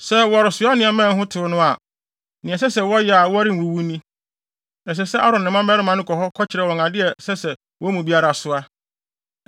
Sɛ wɔresoa nneɛma a ɛho tew no a, nea ɛsɛ sɛ wɔyɛ a wɔrenwuwu ni: Ɛsɛ sɛ Aaron ne ne mma mmarima no ne wɔn kɔ hɔ kɔkyerɛ wɔn ade a ɛsɛ sɛ wɔn mu biara soa.